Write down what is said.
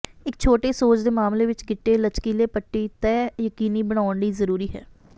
ਇੱਕ ਛੋਟੇ ਸੋਜ ਦੇ ਮਾਮਲੇ ਵਿਚ ਗਿੱਟੇ ਲਚਕੀਲੇ ਪੱਟੀ ਤੈਅ ਯਕੀਨੀ ਬਣਾਉਣ ਲਈ ਜ਼ਰੂਰੀ ਹੈ